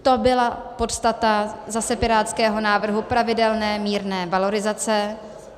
To byla podstata zase pirátského návrhu pravidelné, mírné valorizace.